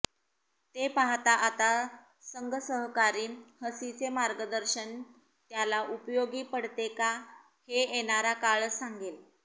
ते पाहता आता संघसहकारी हसीचे मार्गदर्शन त्याला उपयोगी पडते का हे येणारा काळच सांगेल